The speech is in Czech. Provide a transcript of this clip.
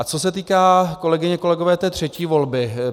A co se týká, kolegyně, kolegové, té třetí volby,